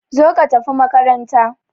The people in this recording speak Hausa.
Zo ka tafi makaranta!